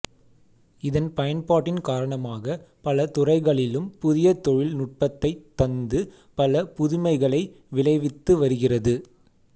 இதன் பயன்பாட்டின் காரணமாக பல துறைகளிலும் புதிய தொழில் நுட்பத்தைத் தந்து பல புதுமைகளை விளைவித்து வருகிறது